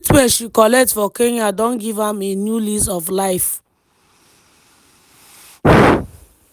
di treatment she collect for kenya don give am a new lease of life.